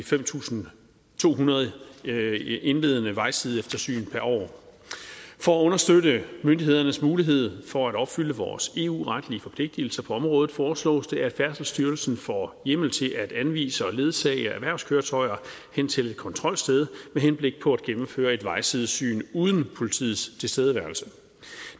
fem tusind to hundrede indledende vejsideeftersyn per år for at understøtte myndighedernes mulighed for at opfylde vores eu retlige forpligtelser på området foreslås det at færdselsstyrelsen får hjemmel til at anvise og ledsage erhvervskøretøjer hen til et kontrolsted med henblik på at gennemføre et vejsidesyn uden politiets tilstedeværelse